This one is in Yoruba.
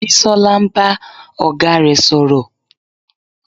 Bisola ń bá ọ̀gá rẹ̀ sọ̀rọ̀